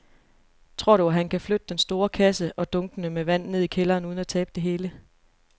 Tror du, at han kan flytte den store kasse og dunkene med vand ned i kælderen uden at tabe det hele?